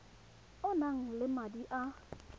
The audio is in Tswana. o nang le madi a